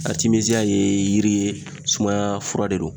Aritimeziya ye yiri ye sumaya fura de do